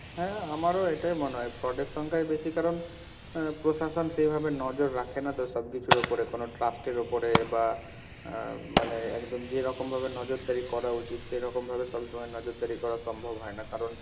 হ্যাঁ আমারও এটাই মনে হয়, fraud এর সংখ্যায় বেশি কারণ অ্যা প্রশাসন সেইভাবে নজর রাখে না তো সবকিছুর ওপরে কোনো trust এর ওপরে বা অ্যা মানে একদম যেরকম ভাবে নজরদারি করা উচিত, সেরকম ভাবে সবসময় নজরদারি করা সম্ভব হয় না, কারণ,